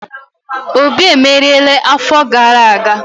Obi emeriela afo gara aga?